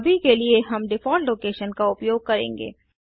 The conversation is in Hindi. अभी के लिए हम डिफ़ॉल्ट लोकेशनस्थान का उपयोग करेंगे